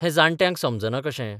हे जाण्ट्यांक समजना कशें?